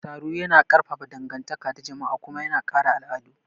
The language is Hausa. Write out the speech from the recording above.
Taro yana ƙarfafa dangantaka ta jama'a kuma yana kare al'adu.